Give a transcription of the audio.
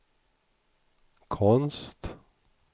konst